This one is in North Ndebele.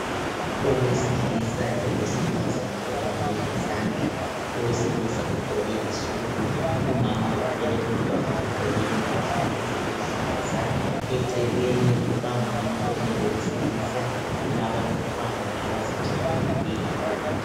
Owesilisa lowesifazana obambe izandla. Owesilisa ugqoke isudu, umama othwele umntwana ugqoke impahla eziluhlaza, eceleni kukamama omi lowesilisa kulabantwana abazijabuleleyo.